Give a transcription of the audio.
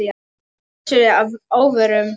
Gissuri að óvörum.